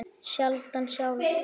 Skyldan sjálf